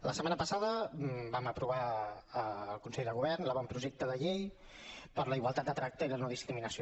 la setmana passada vam aprovar al consell de govern l’avantprojecte de llei per la igualtat de tracte i la no discriminació